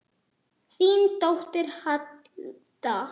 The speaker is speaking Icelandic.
Þín dóttir, Alda.